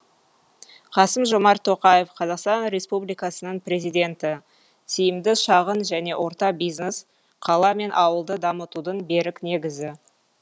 қасым жомарт тоқаев қазақстан республикасының президенті тиімді шағын және орта бизнес қала мен ауылды дамытудың берік негізі